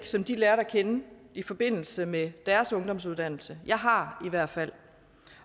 som de lærte at kende i forbindelse med deres ungdomsuddannelse jeg har i hvert fald